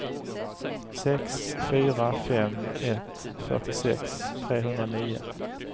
sex fyra fem ett fyrtiosex trehundranio